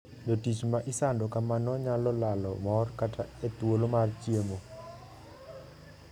Jotich ma isando kamano nyalo lalo mor kata e thuolo mar chiemo.